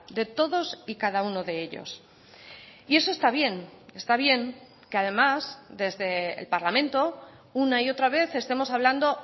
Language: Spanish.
de todos y cada uno de ellos y eso está bien está bien que además desde el parlamento una y otra vez estemos hablando